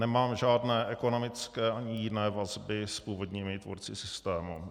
Nemám žádné ekonomické ani jiné vazby s původními tvůrci systému.